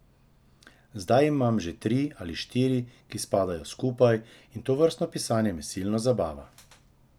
Zdaj imam že tri ali štiri, ki spadajo skupaj, in tovrstno pisanje me silno zabava.